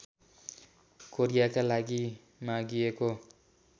कोरियाका लागि मागिएको